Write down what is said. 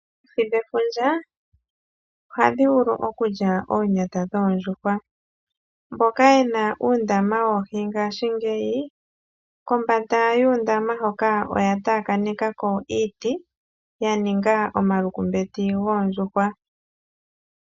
Oohi dhe fundja ohadhi vulu okulya oonyata dhoondjuhwa, mboka yena uundama wOohi ngaashingeyi kombanda yuu ndama hoka oya taakanithako iiti yaninga omalukumbeti goondjuhwa.